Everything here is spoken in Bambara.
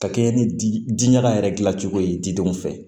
Ka kɛɲɛ ni diɲaga yɛrɛ dilan cogo ye didenw fɛ